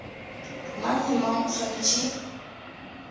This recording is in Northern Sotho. mang le mang o swanetše